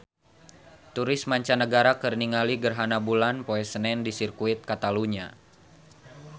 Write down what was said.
Turis mancanagara keur ningali gerhana bulan poe Senen di Sirkuit Katalunya